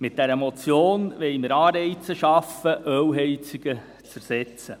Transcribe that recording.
Mit dieser Motion wollen wir Anreize schaffen, Ölheizungen zu ersetzen.